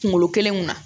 Kunkolo kelen kunna